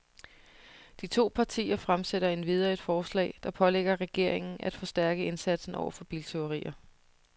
De to partier fremsætter endvidere et forslag, der pålægger regeringen af forstærke indsatsen over for biltyverier.